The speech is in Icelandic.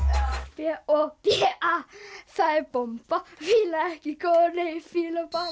b o b a það er bomba fíla ekki konu fíla bara